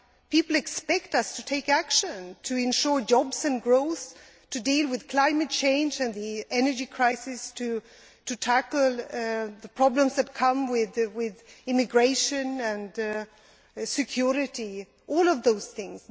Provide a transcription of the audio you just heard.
People expect us to take action to ensure jobs and growth, to deal with climate change and the energy crisis and to tackle the problems that come with immigration and security all of those things.